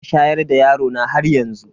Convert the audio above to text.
Ina shayar da yarona haryanzu.